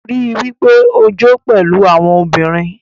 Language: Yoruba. Rii daju pe o jo pẹlu awọn obinrin